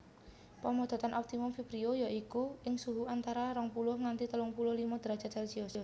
Pamodotan optimum vibrio ya iku ing suhu antarane rong puluh nganti telung puluh limo derajat celsius